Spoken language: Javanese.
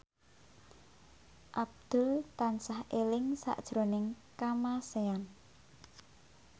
Abdul tansah eling sakjroning Kamasean